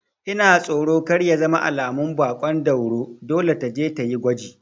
Ina tsoro kar ya zama alamun baƙon dauro, dole taje tayi gwaji